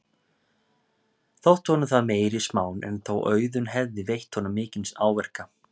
Þótti honum það meiri smán en þó Auðunn hefði veitt honum mikinn áverka.